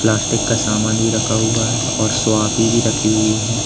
Plastic का सामान भी रखा हुआ है और सोआकी भी रखी हुई हैं।